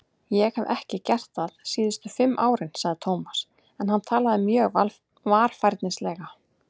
Ég hef ekki gert það síðustu fimm árin sagði Tómas en hann talaði mjög varfærnislega.